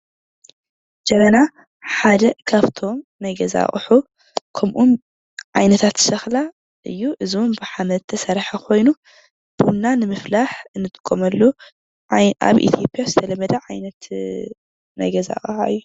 ጀበና ሓደ ካብቶም ናይ ገዚ አቁሑ ከምኦም ዓይነታት ሸክላ እዪ:: እዞም ብሓመድ ዝተሰርሐ ኮይኑ ቡና ነምፋላሕ ንጥቀመሉ አብ ኢትዮጵያ ዝተለመደ ዓይነት ናይ ገዛ አቅሓ እዪ ።